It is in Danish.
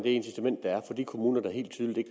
incitament der er for de kommuner der helt tydeligt